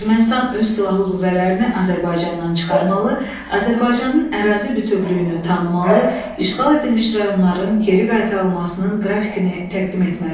Ermənistan öz silahlı qüvvələrini Azərbaycandan çıxarmalı, Azərbaycanın ərazi bütövlüyünü tanımalı, işğal edilmiş rayonların geri qaytarılmasının qrafikini təqdim etməlidir.